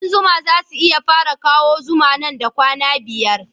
Kuɗan zuma za su fara kawo zuma nan da kwana biyar